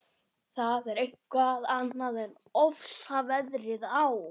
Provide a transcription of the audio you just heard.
Það er eitthvað annað en ofsaveðrið á